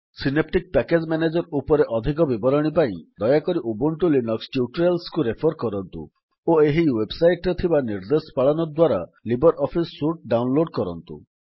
synaptic package manager ଉପରେ ଅଧିକ ବିବରଣୀ ପାଇଁ ଦୟାକରି ଉବୁଣ୍ଟୁ ଲିନକ୍ସ ଟ୍ୟୁଟୋରିଆଲ୍ସକୁ ରେଫର୍ କରନ୍ତୁ ଓ ଏହି ୱେବସାଇଟ୍ ରେ ଥିବା ନିର୍ଦ୍ଦେଶ ପାଳନ ଦ୍ୱାରା ଲିବର୍ ଅଫିସ୍ ସୁଟ୍ ଡାଉନଲୋଡ୍ କରନ୍ତୁ